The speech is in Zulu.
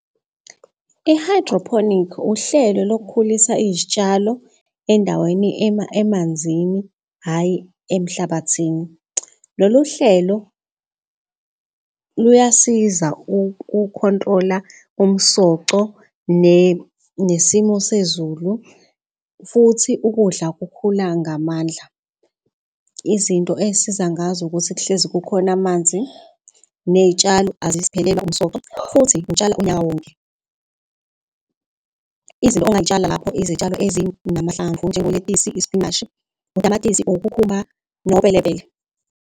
I-hydroponic, uhlelo lokukhulisa izitshalo endaweni emanzini, hhayi emhlabathini. Lolu hlelo luyasiza uku-control-a, umsoco nesimo sezulu. Futhi ukudla kukhula ngamandla izinto ey'siza ngazo ukuthi kuhlezi kukhona amanzi ney'tshalo aziphelelwa umsoco futhi utshala unyaka wonke. Izinto ongayitshala lapho izitshalo ezinamahlamvu njengoletisi, isipinashi, utamatisi ukhukhumba nopelepele.